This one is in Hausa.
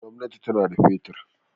Gwamnati tana da fetur.